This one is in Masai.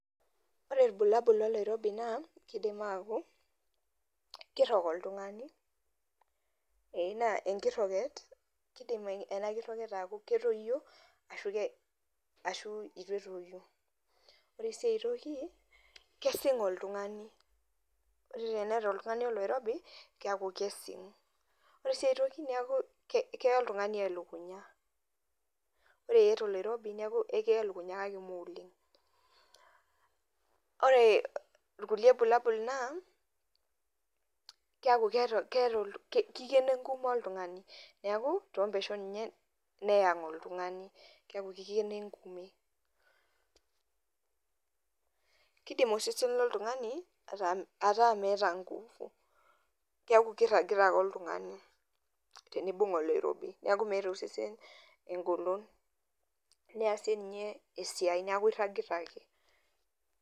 Ore ilbulabul loloirobi naa kidim aku, kirrog oltung'ani, enaa enkirroget, kidim ena kirroget aku ketoyio ashu itu etoyu. Ore si ai toki, kesing' oltung'ani. Ore teneeta oltung'ani oloirobi, keku kesing'. Ore si ai toki keku keya oltung'ani elukunya. Ore iyata oloirobi neku ekiya elukunya kake moleng'. Ore irkulie bulabul naa, keku kikeno enkume oltung'ani. Neeku, tompeshon ninye, neayang' oltung'ani. Keku kikeno enkume. Kidim osesen loltung'ani ataa meeta nkufu. Keeku kirragita ake oltung'ani, tenibung' oloirobi. Neku meeta osesen egolon, niasie nye esiai. Neku irragita ake.